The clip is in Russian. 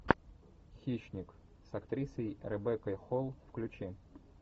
хищник с актрисой ребеккой холл включи